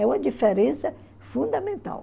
É uma diferença fundamental.